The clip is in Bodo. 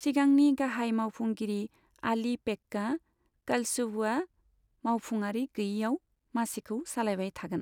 सिगांनि गाहाय मावफुंगिरि आलि पेक्का कालसवुअ'आ मावफुंआरि गैयिआव मासिखौ सालायबाय थागोन।